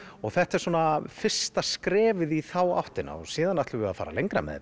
þetta er svona fyrsta skrefið í þá áttina því síðan ætlum við að fara lengra með